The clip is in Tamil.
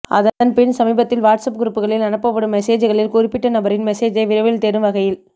அதன்பின் சமீபத்தில் வாட்ஸ்அப் குரூப்களில் அனுப்படும் மெசெஜ்களில் குறிப்பட்ட நபரின் மெசேஜை விரைவில் தேடும் வகையில்